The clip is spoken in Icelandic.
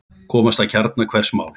Komast að kjarna hvers máls.